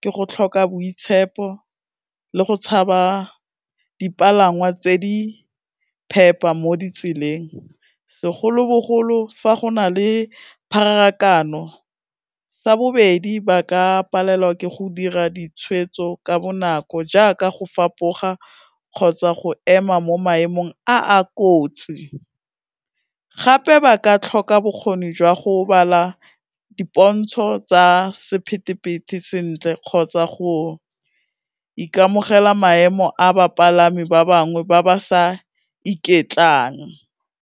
ke go tlhoka boitshepo le go tshaba dipalangwa tse di phepa mo ditseleng, segolobogolo fa go na le pharakano, sa bobedi ba ka palelwa ke go dira ditshwetso ka bonako jaaka go fapoga kgotsa go ema mo maemong a a kotsi, gape ba ka tlhoka bokgoni jwa go bala dipontso tsa sephethephethe sentle kgotsa go ikamogela maemo a bapalami ba bangwe ba ba sa iketlang.